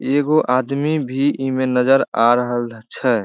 एगो आदमी भी इ में नजर आ रहल छे।